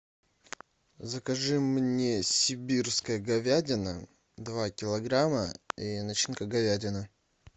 закажи мне сибирская говядина два килограмма и начинка говядина